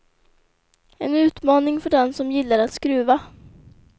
En utmaning för den som gillar att skruva.